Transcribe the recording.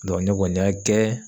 Dɔ ne kɔni y'a kɛ